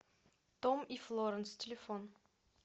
том и флоранс телефон